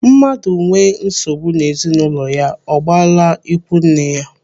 Mmadụ nwee nsogbu n'ezinụlọ ya, ọ gbala ikwu nne ya.